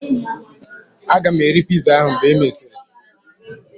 Aga m eri piza ahu mgbe e mesịrị